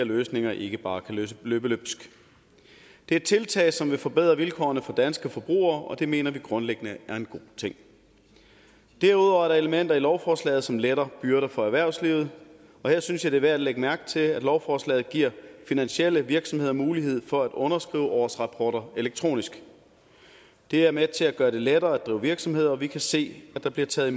løsninger ikke bare kan løbe løbsk det er tiltag som vil forbedre vilkårene for danske forbrugere og det mener vi grundlæggende er en god ting derudover er der elementer i lovforslaget som letter byrder for erhvervslivet og her synes jeg det er værd at lægge mærke til at lovforslaget giver finansielle virksomheder mulighed for at underskrive årsrapporter elektronisk det er med til at gøre det lettere at drive virksomhed og vi kan se at der bliver taget